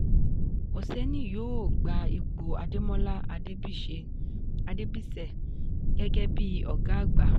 oseni yóò gba ipò ademola adebise gẹ́gẹ́ bíi ọgá àgbà.